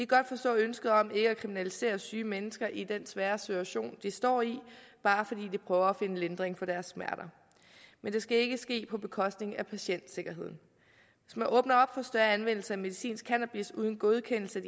godt forstå ønsket om ikke at kriminalisere syge mennesker i den svære situation de står i bare fordi de prøver at finde lindring for deres smerter men det skal ikke ske på bekostning af patientsikkerheden hvis man åbner op for større anvendelse af medicinsk cannabis uden godkendelse af